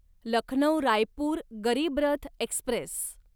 Lucknow Raipur Garib Rath Express